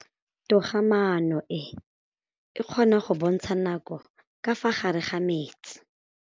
Toga-maanô e, e kgona go bontsha nakô ka fa gare ga metsi.